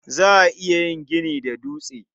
Za a iya yin gini da dutse.